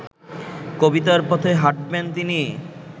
কবিতার পথে হাঁটবেন তিনি